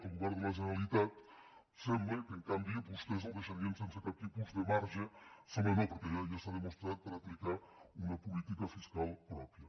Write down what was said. el govern de la generalitat sembla que en canvi vostès el deixarien sense cap tipus de marge sembla no perquè ja està demostrat per aplicar una política fiscal pròpia